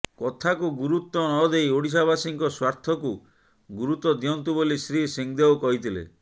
କଥାକୁ ଗୁରୁତ୍ୱ ନଦେଇ ଓଡ଼ିଶାବାସୀଙ୍କ ସ୍ୱାର୍ଥକୁ ଗୁରୁତ୍ୱ ଦିଅନ୍ତୁ ବୋଲି ଶ୍ରୀ ସିଂହଦେଓ କହିଥିଲେ